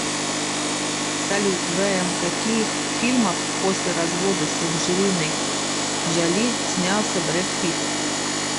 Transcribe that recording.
салют вм каких фильмах после развода с анджелинои джоли снялся бред питт